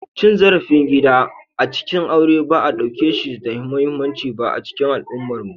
Cin zarafin gida a cikin aure ba a ɗauke shi da muhimmanci ba a cikin al'ummarmu.